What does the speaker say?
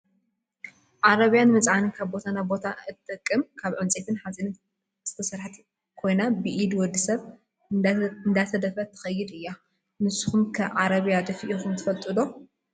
ዓረብያ ንመፅዓኒ ካብ ቦታ ናብ ቦታ እትጠቅም ካብ ዕንፀይቲን ሓፂንን እተሰረሓት ኮይና ብኢድ ወዲሰብ እንዳተደፈኣት ትከድ እያ። ንሱኩም ከ ዓረብያ ደፊኢኩም ትፈልጡ ዶ ?